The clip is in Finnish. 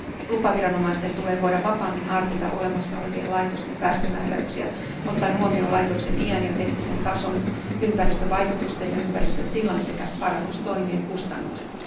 Lupaviranomaisten tulee voida vapaammin harkita olemassa olevien laitosten päästömääräyksiä, ottaen huomioon laitoksen iän ja teknisen tason, ympäristövaikutusten ja ympäristön tilan sekä parannustoimien kustannukset.